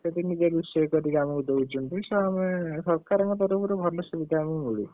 ସେଠି ନିଜେ ରୋଷେଇ କରି ଆମକୁ ଦଉଛନ୍ତିତ ଆମେ ସରକାରଙ୍କର ତରଫରୁ ଭଲ ସୁବିଧା ଆମକୁ ମିଳୁଛି।